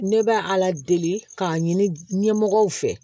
Ne bɛ ala deli k'a ɲini ɲɛmɔgɔw fɛ